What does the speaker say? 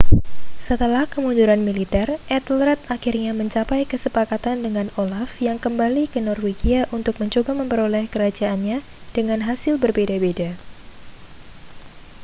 setelah kemunduran militer ethelred akhirnya mencapai kesepakatan dengan olaf yang kembali ke norwegia untuk mencoba memperoleh kerajaannya dengan hasil berbeda-beda